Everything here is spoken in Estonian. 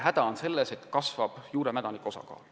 Häda on selles, et kasvab juuremädanikuga puude osakaal.